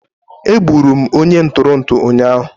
Egburu m onye nturu utu ụnyaahụ